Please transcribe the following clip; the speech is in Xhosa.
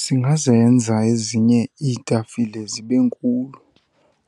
Singazenza ezinye iitafile zibe nkulu,